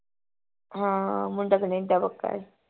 ਹਾਂ ਮੁੰਡਾ ਕੈਨੇਡਾ ਪੱਕਾ ਹੈ